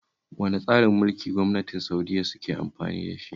Wane tsarin gwamnati Sa'udiyya suke amfani da shi?